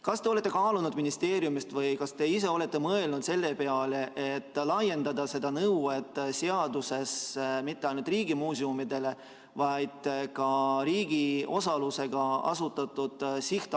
Kas te olete kaalunud ministeeriumis või kas te ise olete mõelnud selle peale, et laiendada seda seadusest tulenevat nõuet nii, et see ei kehtiks mitte ainult riigimuuseumidele, vaid ka riigi osalusega sihtasutustele?